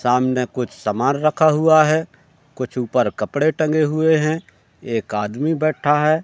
सामने कुछ समान रखा हुआ है कुछ ऊपर कपड़े टंगे हुए हैं एक आदमी बैठा है।